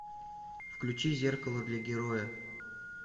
включи зеркало для героя